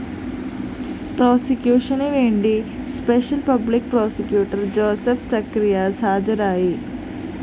പ്രോസിക്യൂഷനുവേണ്ടി special public prosecutor Joseph Zacharias ഹാജരായി